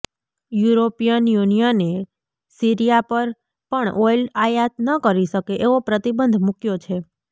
European યુનિયને Syria પર પણ ઑઇલ આયાત ન કરી શકે એવો પ્રતિબંધ મૂક્યો છે